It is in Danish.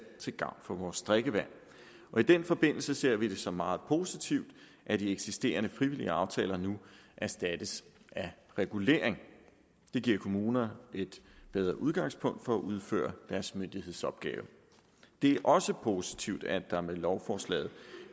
til gavn for vores drikkevand og i den forbindelse ser vi det som noget meget positivt at de eksisterende frivillige aftaler nu erstattes af regulering det giver kommunerne et bedre udgangspunkt for at kunne udføre deres myndighedsopgave det er også positivt at der med lovforslaget